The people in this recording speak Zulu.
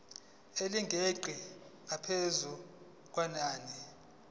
elingeqi ngaphezu kwenani